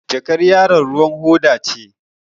Jakar yaron ruwan hoda ce.